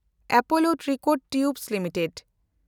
Apollo Tricoat tubes limited